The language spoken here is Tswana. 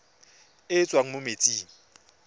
e e tswang mo metsing